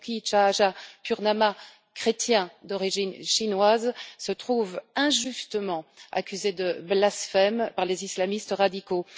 Basuki Tjahaja Purnama, chrétien d'origine chinoise, se trouve injustement accusé de blasphème par les islamistes radicaux.